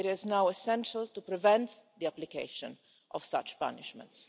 It is now essential to prevent the application of such punishments.